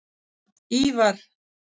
Ívar